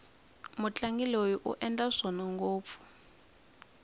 mutlangi loyi u endla swona ngopfu